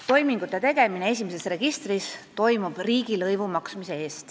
Toimingute tegemiseks esimeses registris tuleb maksta riigilõivu.